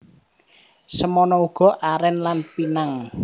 Semono uga arèn lan pinang